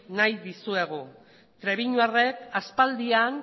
egin nahi dizuegu trebiñuarrek aspaldian